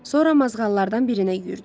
Sonra mazğallardan birinə yüyürdü.